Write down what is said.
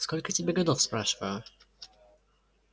сколько тебе годов спрашиваю